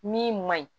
Min man ɲi